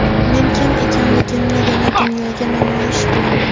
Men kim ekanligimni yana dunyoga namoyish qilaman.